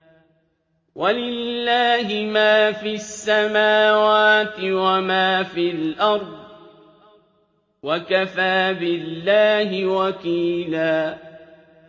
وَلِلَّهِ مَا فِي السَّمَاوَاتِ وَمَا فِي الْأَرْضِ ۚ وَكَفَىٰ بِاللَّهِ وَكِيلًا